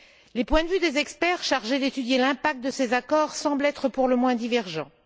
Les points de vue des experts chargés d'étudier l'impact de ces accords semblent être pour le moins divergents.